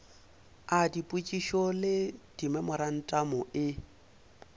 a dipotšišo le dimemorantamo e